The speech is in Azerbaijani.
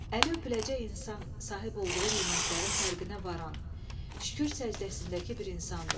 Əli öpüləcək insan sahib olduğu nemətlərin fərqinə varan, şükür səcdəsindəki bir insandır.